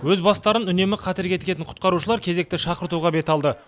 өз бастарын үнемі қатерге тігетін құтқарушылар кезекті шақыртуға бет алды